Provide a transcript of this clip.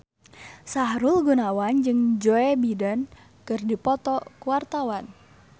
Sahrul Gunawan jeung Joe Biden keur dipoto ku wartawan